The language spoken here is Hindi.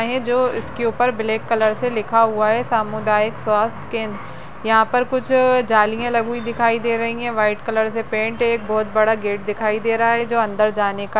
जो इसके ऊपर ब्लाक कलर से लिखा हुआ है सामुदायिक स्वस्थ केंद्र यहां पर कुछ आ जालिये लगी हुई दिखाई दे रही हैं व्हाइट कलर से पेन्ट है एक बहुत बड़ा गेट दिखाई दे रहा है जो अंदर जाने का --